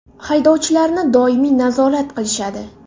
Haydovchilarini doimiy nazorat qilishadi.